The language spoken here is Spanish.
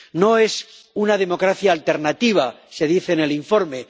No es una democracia alternativa, se dice en el informe.